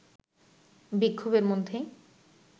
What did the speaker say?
বিক্ষোভের মধ্যেই